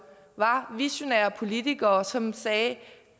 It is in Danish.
visionære politikere som sagde at